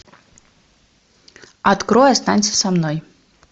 открой останься со мной